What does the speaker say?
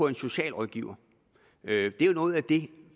en socialrådgiver det er jo noget af det